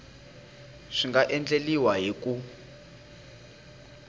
swi nga endliwa hi ku